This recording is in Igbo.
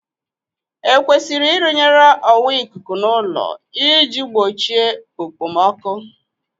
Ekwesịrị irụnyere ọwa ikuku n'ụlọ ị ji gbochie okpomọkụ?